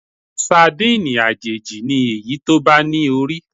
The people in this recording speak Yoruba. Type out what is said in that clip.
Sadíìnì àjèjì ni èyí tó bá ní orí.